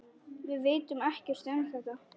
Við vitum ekkert um þetta.